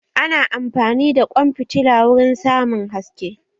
Ana amfani da ƙwan fitila wurin samun haske